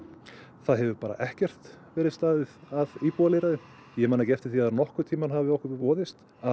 það hefur bara ekkert verið staðið að íbúalýðræði ég man ekki eftir því að nokkurn tímann hafi okkur boðist að